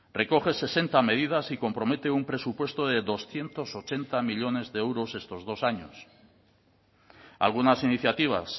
recoge sesenta medidas y compromete un presupuesto de doscientos ochenta millónes de euros estos dos años algunas iniciativas